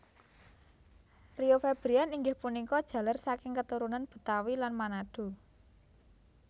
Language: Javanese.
Rio Febrian inggih punika jaler saking keturunan Betawi lan Manado